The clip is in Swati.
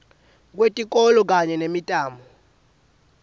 kwetikolo kanye nemitamo